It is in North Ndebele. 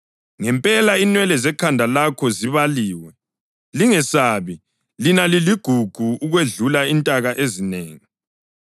Ngempela, inwele zekhanda lakho zibaliwe. Lingesabi; lina liligugu ukwedlula intaka ezinengi.